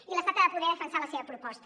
i l’estat ha de poder defensar la seva proposta